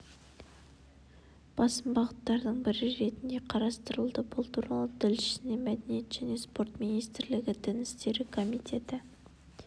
басым бағыттардың бірі ретінде қарастырылды бұл туралы тілшісіне мәдениет және спорт министрлігі дін істері комитеті